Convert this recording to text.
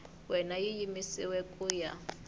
wena yi yimisiwile ku ya